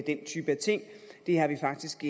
den type af ting det har vi faktisk